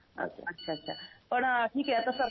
अच्छा अच्छा अच्छा पण ठीक आहे आता सरपंच